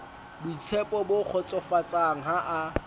boitshepo bo kgotsofatsang ha a